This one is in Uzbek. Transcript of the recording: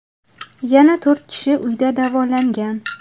Yana to‘rt kishi uyda davolangan.